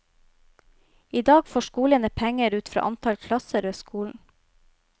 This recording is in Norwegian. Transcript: I dag får skolene penger ut fra antall klasser ved skolen.